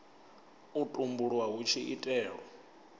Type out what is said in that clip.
u tumbulwa hu tshi itelwa